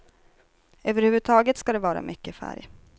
Överhuvudtaget ska det vara mycket färg.